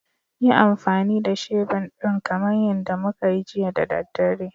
Yi amfani da shebur ɗin kamar yadda muka yi jiya da daddare